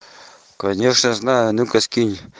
конечно знаю а ну-ка скинь